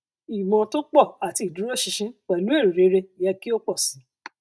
ìmọ tó pọ àti ìdúróṣinṣin pẹlú èrò rere yẹ kí ó pọ sí i